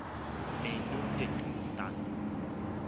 my nou te doen staan